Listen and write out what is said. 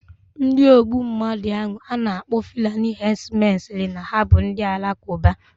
Ndi ogbu mmadu ahu ana akpo fulani herdsmen siri na ha bu Ndị Alakụba.